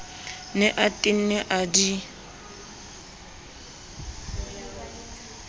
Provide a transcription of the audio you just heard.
ne a tenne a di